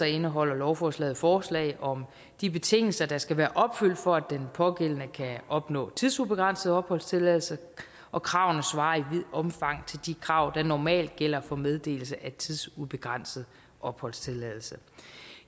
indeholder lovforslaget forslag om de betingelser der skal være opfyldt for at den pågældende kan opnå tidsubegrænset opholdstilladelse og kravene svarer i omfang til de krav der normalt gælder for meddelelse af tidsubegrænset opholdstilladelse